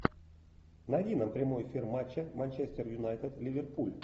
найди нам прямой эфир матча манчестер юнайтед ливерпуль